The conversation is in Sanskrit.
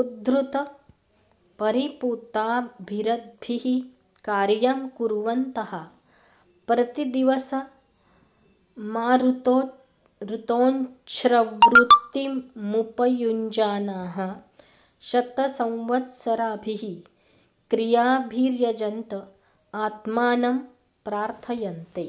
उद्धृतपरिपूताभिरद्भिः कार्यं कुर्वन्तः प्रतिदिवसमाहृतोञ्छवृत्तिमुपयुञ्जानाः शतसंवत्सराभिः क्रियाभिर्यजन्त आत्मानं प्रार्थयन्ते